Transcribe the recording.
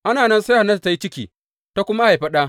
Ana nan sai Hannatu ta yi ciki, ta kuma haifi ɗa.